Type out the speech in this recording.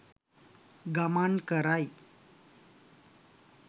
ගමන් කරයි.